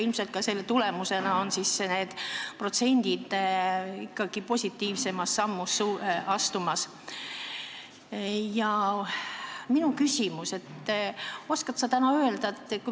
Ilmselt on ka selle tulemusena need protsendid ikkagi positiivsemas suunas liikumas.